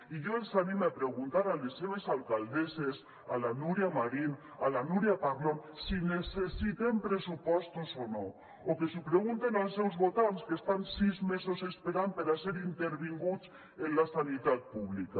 i jo els anime a preguntar a les seves alcaldesses a la núria marín a la núria parlon si necessitem pressupostos o no o que ho pregunten als seus votants que estan sis mesos esperant per a ser intervinguts en la sanitat públic